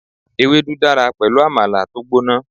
Ewédú dára pẹ̀lú Àmàlà tó gbóná.